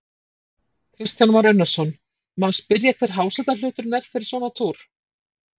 Kristján Már Unnarsson: Má spyrja hver hásetahluturinn er fyrir svona túr?